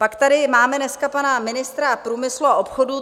Pak tady máme dneska pana ministra průmyslu a obchodu.